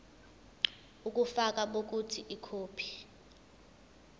ubufakazi bokuthi ikhophi